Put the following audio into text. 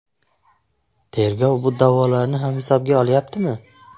Tergov bu da’volarni ham hisobga olyaptimi?